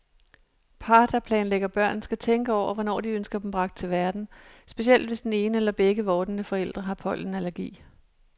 Par, der planlægger børn, skal tænke over, hvornår de ønsker dem bragt til verden, specielt hvis den ene eller begge vordende forældre har pollenallergi.